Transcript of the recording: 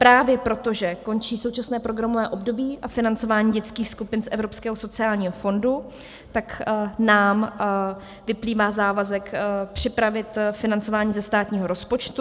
Právě proto, že končí současné programové období a financování dětských skupin z Evropského sociálního fondu, tak nám vyplývá závazek připravit financování ze státního rozpočtu.